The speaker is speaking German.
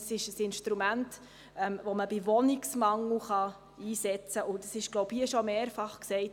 Es ist nämlich ein Instrument, das bei Wohnungsmangel eingesetzt werden kann, und es wurde hier bereits mehrfach gesagt: